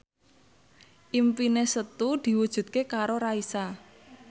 impine Setu diwujudke karo Raisa